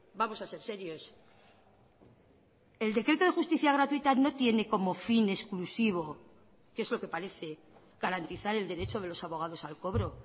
vamos a ser serios el decreto de justicia gratuita no tiene como fin exclusivo que es lo que parece garantizar el derecho de los abogados al cobro